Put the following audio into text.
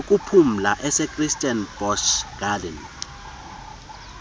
yokuphumla esekirstenbosch gardens